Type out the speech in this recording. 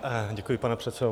Děkuji, pane předsedo.